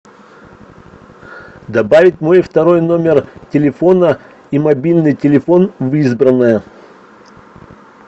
добавить мой второй номер телефона и мобильный телефон в избранное